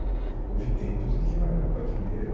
Houve tempos em que eu era patrulheiro.